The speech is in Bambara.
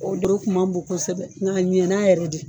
O dow kun man bon kosɛbɛ ng'a ɲɛna yɛrɛ de